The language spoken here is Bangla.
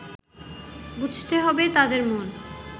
বুঝতে হবে তাঁদের মন